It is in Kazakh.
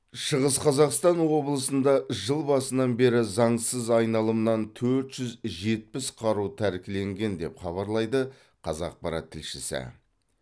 шығыс қазақстан облысында жыл басынан бері заңсыз айналымнан төрт жүз жетпіс қару тәркіленген деп хабарлайды қазақпарат тілшісі